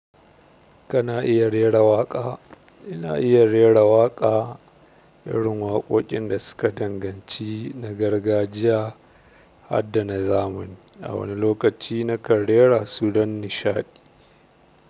Kana iya rera waƙa. Ina iya rera waƙa. Irin waƙoƙin da suka danganci na gargajiya harda na zamani. A wani lokaci na kan rera su don nishaɗi.